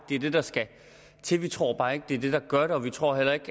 det er det der skal til vi tror bare ikke at det er det der gør det og vi tror heller ikke